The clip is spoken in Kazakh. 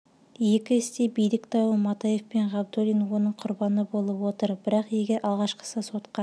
екі іс те билік дауы матаев пен ғабдуллин оның құрбаны болып отыр бірақ егер алғашқысы сотқа